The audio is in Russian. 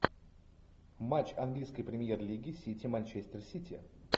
матч английской премьер лиги сити манчестер сити